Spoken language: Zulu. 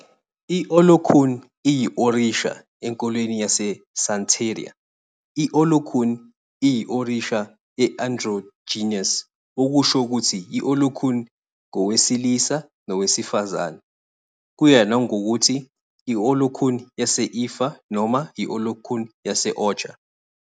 I-Olokun iyi-orisha enkolweni yaseSantería. I-Olokun iyi-orisha e-androgynous, okusho ukuthi i-Olokun ngowesilisa nowesifazane, kuya ngokuthi yi-Olokun yase-Ifá noma i-Olokun yase-Ocha.